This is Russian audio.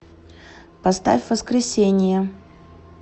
поставь воскресение